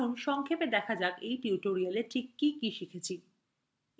আসুন সংক্ষেপে দেখা যাক এই tutorialএ কি কি শিখেছি